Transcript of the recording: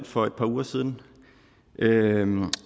for et par uger siden